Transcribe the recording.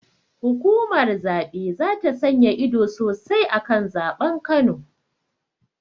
Hukumar zaɓe zata sanya ido sosai akan zaɓen kano